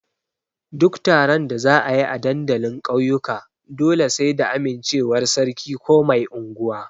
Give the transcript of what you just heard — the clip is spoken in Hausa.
Duk taron da za a yi a dandalin ƙauyuka dole sai da amincewar sarki ko mai anguwa.